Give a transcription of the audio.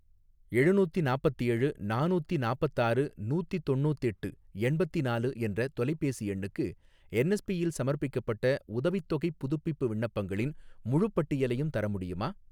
எழுநூத்தி நாப்பத்தேழு ,நானூத்தி நாப்பத்தாறு நூத்தி தொண்ணூத்தெட்டு எண்பத்திநாலு என்ற தொலைபேசி எண்ணுக்கு என்எஸ்பி யில் சமர்ப்பிக்கப்பட்ட உதவித்தொகைப் புதுப்பிப்பு விண்ணப்பங்களின் முழுப் பட்டியலையும் தர முடியுமா?